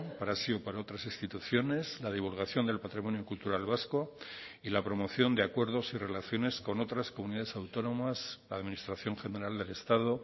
para sí o para otras instituciones la divulgación del patrimonio cultural vasco y la promoción de acuerdos y relaciones con otras comunidades autónomas administración general del estado